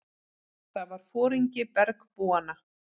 Það var foringi bergbúanna.